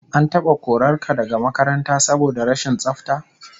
An taba korar ka daga makaranta saboda rashin tsafta?